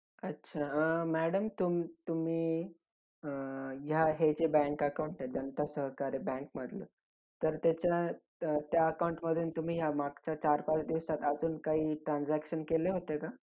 अच्छा! अं madam तुम तुम्ही अं या हे जे bank account आहे जनता सहकारी बँकमधून, तर त्याच्या अं त्या account मधून तुम्ही या मागच्या चार पाच दिवसात अजून काही transaction केले होते का?